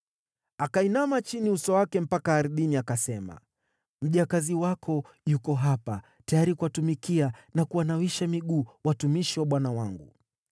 Akainama chini uso wake mpaka ardhini, akasema, “Mjakazi wako yuko hapa, tayari kuwatumikia na kuwanawisha miguu watumishi wa bwana wangu.”